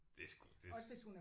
Det er sgu det